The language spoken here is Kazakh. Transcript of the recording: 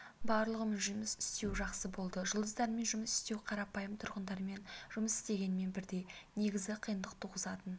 барлығымен жұмыс істеу жақсы болды жұлдыздармен жұмыс істеу қарапайым тұрғындармен жұмыс істегенмен бірдей негізі қиындық туғызатын